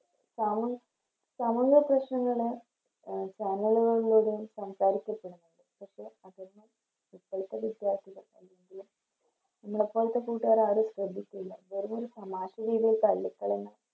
സമു സമൂഹ പ്രശ്നങ്ങള് എ സാമൂഹിക സംസാരിക്ക പെടുന്നുണ്ട് പക്ഷെ അതൊന്നും ഇപ്പളത്തെ കൂട്ടിയക്ക് അല്ലെങ്കില് നമ്മളെപ്പോലത്തെ കൂട്ടുകാര് ആരും ശ്രദ്ധിക്കൂല വെറുതെയൊരു തമാശ രീതില് തള്ളിക്കളയുന്ന